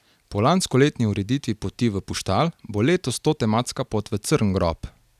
Po lanskoletni ureditvi poti v Puštal bo letos to tematska pot v Crngrob.